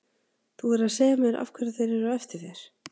Þú verður að segja mér af hverju þeir eru á eftir þér.